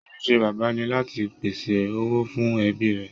Ojúṣe Bàbá ni láti pèsè owó fún ẹbí rẹ̀